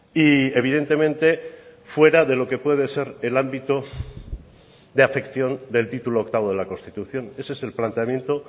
y evidentemente fuera de lo que puede ser el ámbito de afección del título octavo de la constitución ese es el planteamiento